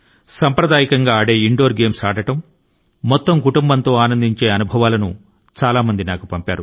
సాంప్రదాయకమైనటువంటి ఆటలు ఆడడం కుటుంబం తో కలిసి గడపడం వంటి అనుభవాల ను చాలామంది వ్రాసి నాకు పంపారు